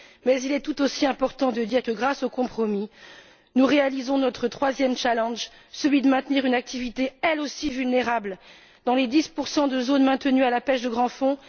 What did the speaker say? Mais il est tout aussi important de dire que, grâce aux compromis, nous réalisons notre troisième défi, celui de maintenir une activité elle aussi vulnérable dans les 10 de zones maintenues pour la pêche des grands fonds.